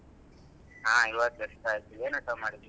ಹಾ ಇವಾಗ just ಆಯ್ತು ಏನ್ ಊಟ ಮಾಡ್ದೆ?